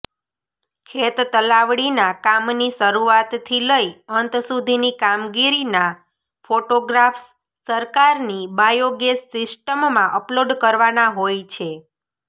ખેતતલાવડીના કામની શરૂઆતથી લઇ અંત સુધીની કામગીરીના ફોટોગ્રાફ્સ સરકારની બાયોગેસ સિસ્ટમમાં અપલોડ કરવાના હોય છે